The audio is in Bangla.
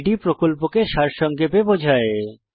এটি প্রকল্পকে সারসংক্ষেপে বোঝায়